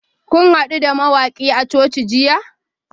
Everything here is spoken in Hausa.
Kun hadu da mawakin a coci jiya?